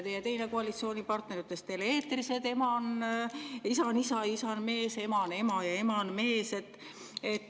Teie teine koalitsioonipartner ütles tele-eetris, et isa on isa, isa on mees, ema on ema ja ema on mees.